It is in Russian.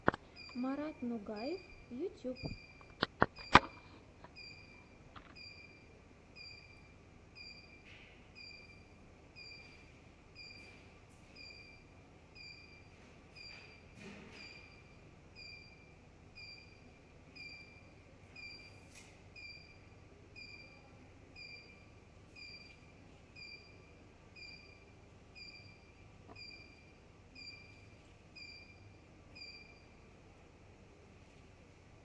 марат нугаев ютьюб